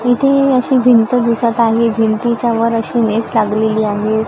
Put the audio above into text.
इथे अशी भिंत दिसतं आहे. भिंतीच्या वर अशी नेट लागलेली आहे.